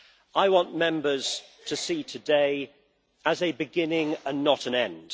I want Members to see today as a beginning and not an end.